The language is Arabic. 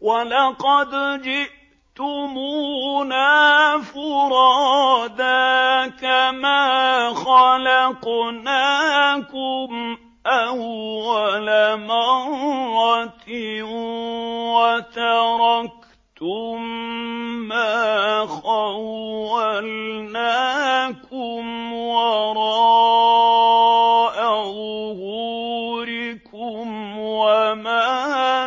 وَلَقَدْ جِئْتُمُونَا فُرَادَىٰ كَمَا خَلَقْنَاكُمْ أَوَّلَ مَرَّةٍ وَتَرَكْتُم مَّا خَوَّلْنَاكُمْ وَرَاءَ ظُهُورِكُمْ ۖ وَمَا